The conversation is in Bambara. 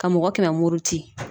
Ka mɔgɔ kɛmɛ muruti